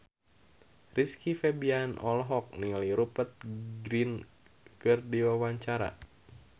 Rizky Febian olohok ningali Rupert Grin keur diwawancara